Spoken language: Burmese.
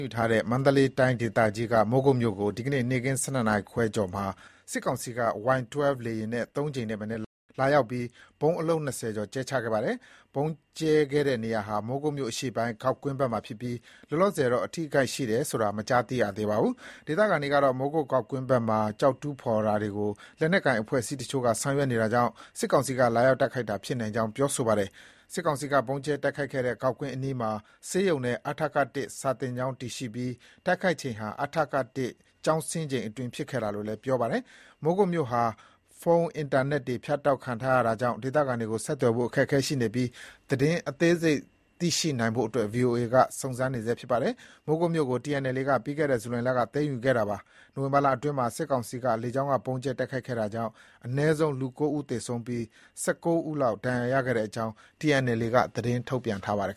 ယူထားတဲ့ မန္တလေးတိုင်းဒေသကြီးက မိုးကုတ်မြို့ကို ဒီနေ့ နေ့ခင်း ၁၂ နာရီခွဲကျော်မှာ စစ်ကောင်စီက Y12 လေယာဉ်နဲ့ သုံးကြိမ်ထက်မနည်းလာရောက်ပြီး ဗုံး အလုံး ၂၀ ကျော်ကြဲချခဲ့ပါတယ်။ ဗုံးကြဲချတဲ့နေရာဟာ မိုးကုတ်မြို့အရှေ့ပိုင်း ဂေါက်ကွင်းဘက်မှာ ဖြစ်ပြီး လောလောဆယ်တော့ အထိအခိုက်ရှိတယ်ဆိုတာ မကြားသိရသေးပါဘူး။ ဒေသခံတွေကတော့ လက်နက်ကိုင်အဖွဲ့အစည်းအချို့က မိုးကုတ်ဂေါက်ကွင်းဘက်မှာ ကျောက်တူးဖော် တာတွေ ရှိနေတယ်လို့ သတင်းတွေ ထွက်ပေါ်နေတာကြောင့် စစ်ကောင်စီက လာရောက်တိုက်ခိုက်တာ ဖြစ်နိုင်ကြောင်း ပြောပါတယ်။ စစ်ကောင်စီက ဗုံးကြဲတိုက်ခိုက်ခဲ့တဲ့ ဂေါက်ကွင်းအနီးမှာ ဆေးရုံနဲ့ အထက (၁) စာသင်ကျောင်းတည်ရှိပြီး တိုက်ခိုက်ချိန်ဟာ အထက (၁) ကျောင်းဆင်းချိန်အတွင်း ဖြစ်ခဲ့တာလို့လည်း ပြောပါတယ်။ မိုးကုတ်မြို့ဟာ ဖုန်း၊ အင်တာနက်တွေဖြတ်တောက်ထားတာကြောင့် ဒေသခံတွေကိုဆက်သွယ်ဖို့ အခက်အခဲရှိနေပြီး သတင်းအသေးစိတ်ရရှိဖို့ကိုတော့ VOA က စုံစမ်းနေဆဲဖြစ်ပါတယ်။ မိုးကုတ်မြို့ကို TNLA က ပြီးခဲ့တဲ့နှစ် ဇူလိုင်လက သိမ်းယူခဲ့တာပါ။ နိုဝင်ဘာလအတွင်းမှာ စစ်ကောင်စီက လေကြောင်း က ဗုံးကြဲတိုက်ခိုက်ခဲ့တာကြောင့် အနည်းဆုံး လူ ၉ ဦးသေဆုံးပြီး ၁၃ ဦးခန့် ဒဏ်ရာရခဲ့ကြောင်း TNLA က သတင်းထုတ်ပြန်ခဲ့ပါတယ်